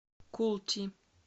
култи